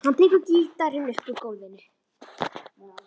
Hann tekur gítarinn upp úr gólfinu.